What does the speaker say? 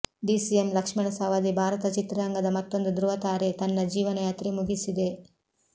DCM Laxman Savadi Bharat ಚಿತ್ರರಂಗದ ಮತ್ತೊಂದು ಧ್ರುವ ತಾರೆ ತನ್ನ ಜೀವನಯಾತ್ರೆ ಮುಗಿಸಿದೆ